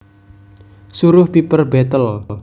Suruh Piper betle